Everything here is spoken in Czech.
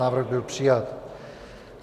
Návrh byl přijat.